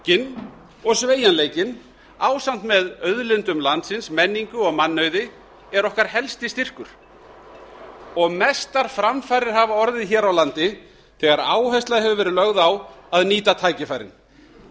einfaldleikinn og sveigjanleikinn ásamt með auðlindum landsins menningu og mannauði er okkar helsti styrkur mestar framfarir hafa orðið þegar áhersla hefur verið lögð á að nýta tækifærin